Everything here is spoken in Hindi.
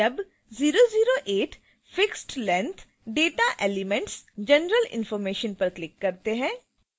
जब 008 fixedlength data elementsgeneral information पर क्लिक करते हैं